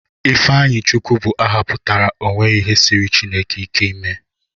Ifeanyichukwu bụ aha pụtara 'o nweghi ihe siiri Chineke ike ime'